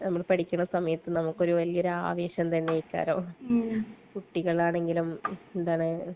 നമ്മൾ പഠിക്കുന്ന സമയത്ത് നമുക്കൊരു വലിയ ആവേശം തന്നെ ആയിരിക്കൂലോ. കുട്ടികളാണെങ്കിലും